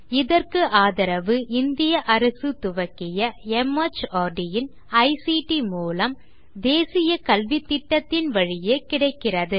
இதற்கு ஆதரவு இந்திய அரசு துவக்கிய மார்ட் இன் ஐசிடி மூலம் தேசிய கல்வித்திட்டத்தின் வழியே கிடைக்கிறது